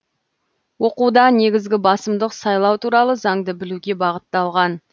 оқуда негізгі басымдық сайлау туралы заңды білуге бағытталған